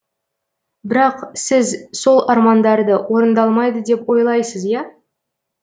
бірақ сіз сол армандарды орындалмайды деп ойлайсыз иа